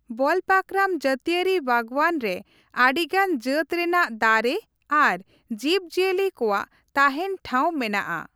ᱵᱚᱞᱯᱟᱠᱚᱨᱟᱢ ᱡᱟᱹᱛᱤᱭᱟᱹᱨᱤ ᱵᱟᱜᱽᱽᱣᱟᱱ ᱨᱮ ᱟᱹᱰᱤᱜᱟᱱ ᱡᱟᱹᱛ ᱨᱮᱱᱟᱜ ᱫᱟᱨᱮ ᱟᱨ ᱡᱤᱵᱽᱼᱡᱤᱭᱟᱹᱞᱤ ᱠᱚᱣᱟᱜ ᱛᱟᱦᱮᱸᱱ ᱴᱷᱟᱶ ᱢᱮᱱᱟᱜᱼ ᱟ ᱾